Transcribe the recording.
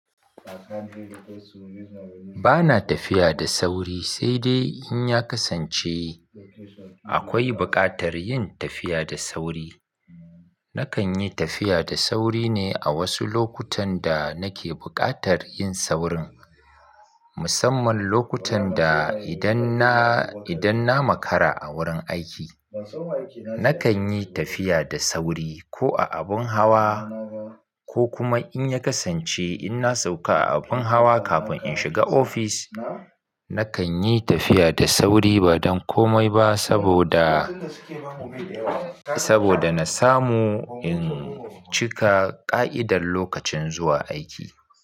Ba na tafiya da sauri, sai dai in ya kasance akwai bukatar yin tafiya da sauri. Nakan yi tafiya da sauri ne a wasu lokutan da nake bukatar yin saurin, musamman lokutan da idan na, idan na makara a wurin aiki. Nakan yi tafiya da sauri ko a abun hawa ko kuma, in ya kasance in na sauka a abun hawa kafin in shiga ofis, nakan yi tafiya da sauri ba don komai ba saboda, saboda na samu in cika ƙa'idar lokacin zuwa aiki.